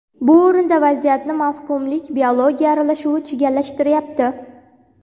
Bu o‘rinda vaziyatni mavhumlik – biologiya aralashuvi chigallashtiryapti.